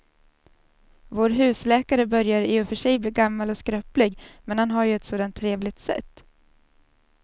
Vår husläkare börjar i och för sig bli gammal och skröplig, men han har ju ett sådant trevligt sätt!